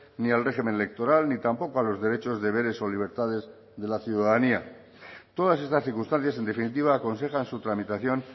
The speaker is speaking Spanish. ni al régimen electoral ni tampoco a los derechos deberes o libertades de la ciudadanía todas estas circunstancias en definitiva aconsejan su tramitación